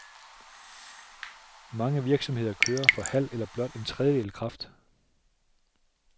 Mange virksomheder kører for halv eller blot en tredjedel kraft.